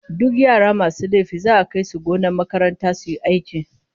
Duk yara masu laifi za'a kai su gonar makaranta su yi aiki